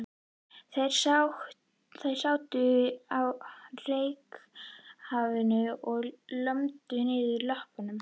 Þeir sátu á reykháfnum og lömdu niður löppunum.